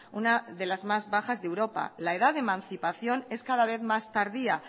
una de las más bajas de europa la edad de mancipación es cada vez más tardía